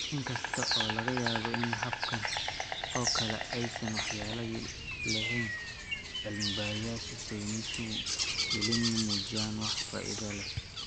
Inkasta oo laga yaabo in hababkan oo kale aysan waxyeello lahayn, cilmi-baarisyada sayniska weli ma muujin wax faa'iido leh.